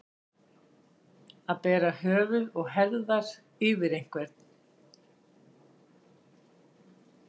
Að bera höfuð og herðar yfir einhvern